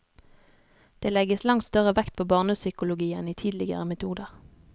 Det legges langt større vekt på barnepsykologi enn i tidligere metoder.